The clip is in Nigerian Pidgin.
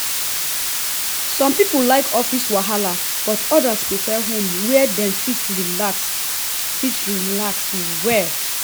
some people like office wahala but others prefer home where dem fit relax fit relax well.